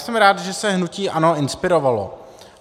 Jsem rád, že se hnutí ANO inspirovalo.